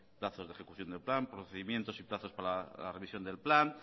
plazos de ejecución de plan procedimientos y plazos para la revisión del plan